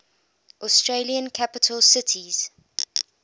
australian capital cities